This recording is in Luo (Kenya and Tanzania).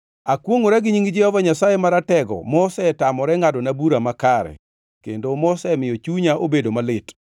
“Akwongʼora gi nying Jehova Nyasaye Maratego mosetamore ngʼadona bura makare, kendo mosemiyo chunya obedo malit,